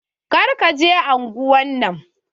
Kar ka je unguwan nan.